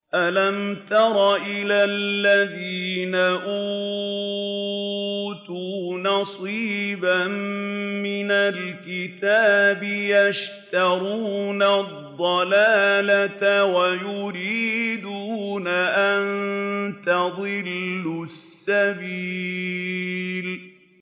أَلَمْ تَرَ إِلَى الَّذِينَ أُوتُوا نَصِيبًا مِّنَ الْكِتَابِ يَشْتَرُونَ الضَّلَالَةَ وَيُرِيدُونَ أَن تَضِلُّوا السَّبِيلَ